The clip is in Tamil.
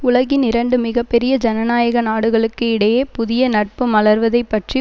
உலகின் இரண்டு மிக பெரிய ஜனநாயக நாடுகளுக்கு இடையே புதிய நட்பு மலர்வதைப் பற்றி